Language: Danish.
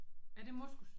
Er det moskus?